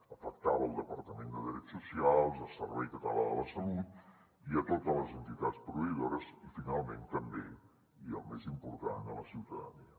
afectava el departament de drets socials el servei català de la salut i a totes les entitats proveïdores i finalment també i el més important la ciutadania